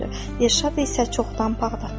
Dirşad isə çoxdan Bağdadtdadır.